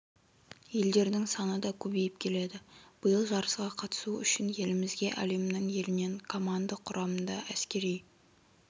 елдердің саны да көбейіп келеді биыл жарысқа қатысу үшін елімізге әлемнің елінен команда құрамында әскери